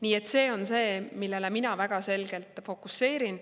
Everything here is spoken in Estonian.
Nii et see on see, millele mina väga selgelt fokuseerin.